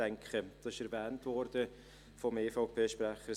ich denke, dies ist vom EVP-Sprecher erwähnt worden.